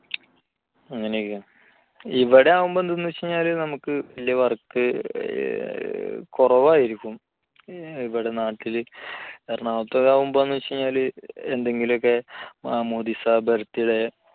അങ്ങനെയൊക്കെയാണ് ഇവിടെ ആവുമ്പോൾ എന്തെന്ന് വെച്ച് കഴിഞ്ഞാൽ നമുക്ക് work വളരെ കുറവായിരിക്കും ഇവിടെ നാട്ടിലെ എറണാകുളത്തൊക്കെ ആവുമ്പോഴേ എന്തെന്ന് വെച്ച് കഴിഞ്ഞാല്‍ എന്തെങ്കിലുമൊക്കെ മാമോദിസ birth day